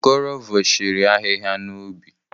Okoro vọshiri ahịhịa n'ubi.